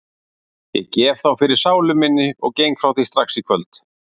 Ég gef þá fyrir sálu minni og geng frá því strax í kvöld.